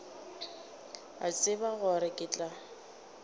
a tseba gore ke tla